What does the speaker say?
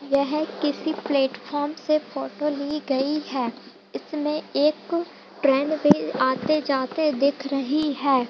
यह किसी प्लेटफार्म से फोटो ली गई हैं इसमे एक ट्रैन भी आते जाते दिख रही हैं।